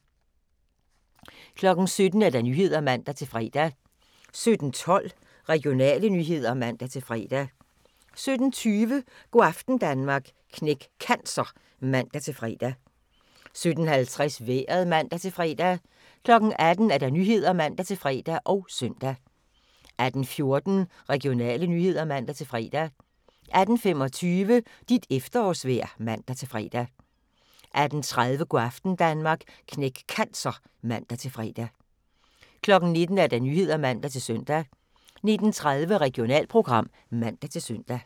17:00: Nyhederne (man-fre) 17:12: Regionale nyheder (man-fre) 17:20: Go' aften Danmark – Knæk Cancer (man-fre) 17:50: Vejret (man-fre) 18:00: Nyhederne (man-fre og søn) 18:14: Regionale nyheder (man-fre) 18:25: Dit efterårsvejr (man-fre) 18:30: Go' aften Danmark – Knæk Cancer (man-fre) 19:00: Nyhederne (man-søn) 19:30: Regionalprogram (man-søn)